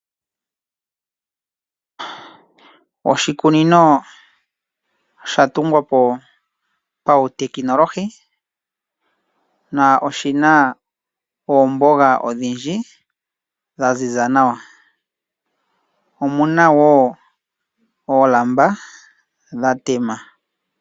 Oshikunino oshatungwa po pautekinolohi na oshina oomboga odhindji dhaziza nawa, omuna wo oolamba dhatema.